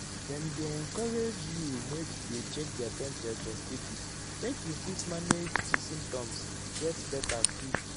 dem dey encourage you make you dey check their temperature steady make you fit manage di symptoms get beta quick.